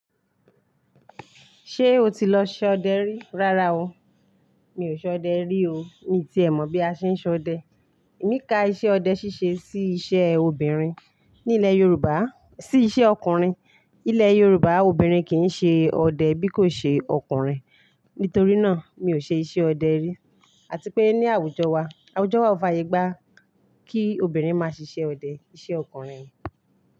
Ṣé o ti lọ ṣọdẹ rí? Rárá o, mi ò ṣọdẹ rí o. Mi ti è mọ̀ bí a ṣe ń ṣọdẹ. Èmi ka iṣẹ́ ọdẹ ṣíṣe sí iṣẹ́ obìnrin ní ilẹ̀ Yorùbá, sí iṣẹ́ ọkùnrin. Ilẹ̀ Yorùbá obìnrin kì í ṣe ọdẹ bí kò ṣe ọkùnrin. Nítorí náà, mi ò ṣe iṣẹ́ ọdẹ rí. Àti pé ní àwùjọ wa, àwùjọ wa ò fàyègbá kí obìnrin máa ṣiṣẹ́ ọdẹ, iṣẹ́ ọkùnrin.